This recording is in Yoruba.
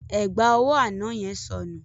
Ẹ̀gbà ọwọ́ àná yẹn sọnù.